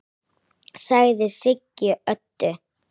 sagði Siggi Öddu.